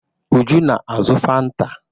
Uju na-azụ Fanta.